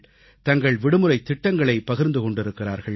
தங்கள் விடுமுறைத் திட்டங்களைப் பகிர்ந்து கொண்டிருக்கிறார்கள்